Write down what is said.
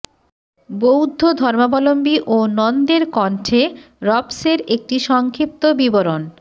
বৌদ্ধ ধর্মাবলম্বী ও নন্দের কণ্ঠে রবসের একটি সংক্ষিপ্ত বিবরণ